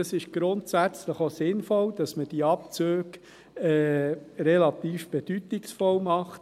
Ich denke, es ist grundsätzlich auch sinnvoll, dass man diese Abzüge relativ bedeutungsvoll macht.